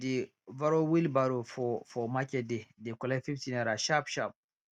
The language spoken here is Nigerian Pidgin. she dey borrow wheelbarrow for for market day dey collect fifty naira sharp sharp